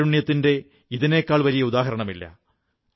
കാരുണ്യത്തിന്റെ ഇതിനേക്കാൾ വലിയ ഉദാഹരണമില്ല